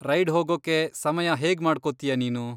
Ride ಹೋಗೋಕ್ಕೆ ಸಮಯ ಹೇಗ್ ಮಾಡ್ಕೋತೀಯ ನೀನು?